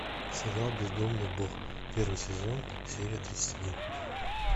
сериал бездомный бог первый сезон серия тридцать один